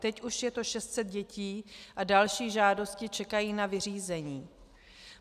Teď už je to 600 dětí a další žádosti čekají na vyřízení.